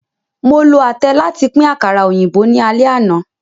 Mo lo atẹ làti pin àkàrá óyinbo ni àlẹ àna.